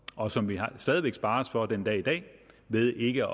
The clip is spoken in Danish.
og som vi stadig væk sparer os for den dag i dag ved ikke